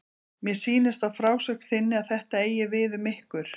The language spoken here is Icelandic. Mér sýnist á frásögn þinni að þetta eigi við um ykkur.